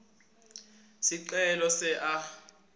sicelo se a